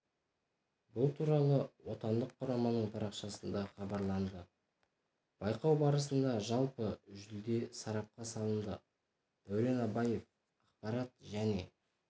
бұл туралы отандық құраманың парақшасында хабарланды байқау барысында жалпы жүлде сарапқа салынды дәурен абаев ақпарат және